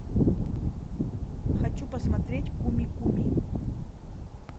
хочу посмотреть куми куми